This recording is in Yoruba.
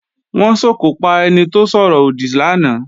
Wọ́n sòkò pa ẹni tó sọ̀rọ̀ òdì lánàá